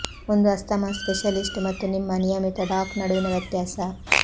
ಒಂದು asthma specialist ಮತ್ತು ನಿಮ್ಮ ನಿಯಮಿತ ಡಾಕ್ ನಡುವಿನ ವ್ಯತ್ಯಾಸ